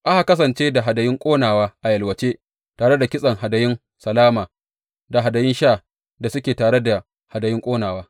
Aka kasance da hadayun ƙonawa a yalwace, tare da kitsen hadayun salama da hadayun sha da suke tafe da hadayun ƙonawa.